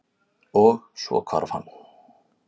Og- svo hvarf hann.